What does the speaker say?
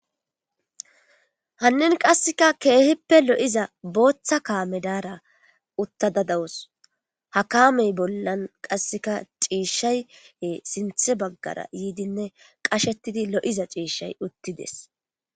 Hanin qase keehippe lo'iza bootha kame Daara utada dawusi ha kaamey bolla qaseka ciishay sintha bagara yiid qashetid lo'iza ciishay utides.